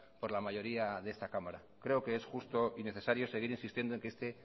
por la mayoría de esta cámara creo que es justo y necesario seguir insistiendo en que este